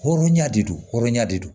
Hɔrɔnya de don hɔrɔnya de don